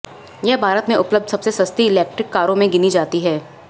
यह भारत में उपलब्ध सबसे सस्ती इलेक्ट्रिक कारों में गिनी जाती है